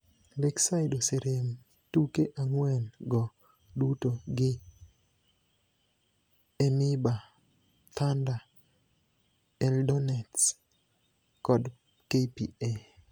Lakeside oserem tuke ang'wen go duto gi EMYBA, Thunder, Eldonets kod KPA